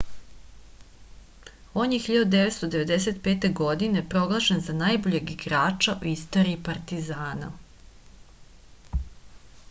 on je 1995. godine proglašen za najboljeg igrača u istoriji partizana